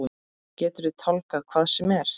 Geturðu tálgað hvað sem er?